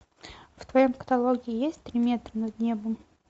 в твоем каталоге есть три метра над небом